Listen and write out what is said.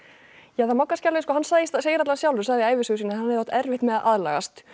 Danina hann sagði allavega sjálfur sagði í ævisögu sinni að hann hefði átt erfitt með að aðlagast